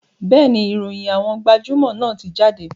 Bẹ́ẹ̀ni, ìròyìn àwọn gbajúmò náà ti jáde